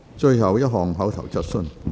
最後一項口頭質詢。